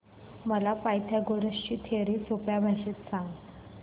मला पायथागोरस ची थिअरी सोप्या भाषेत सांग